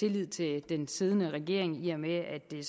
tillid til den siddende regering i og med at det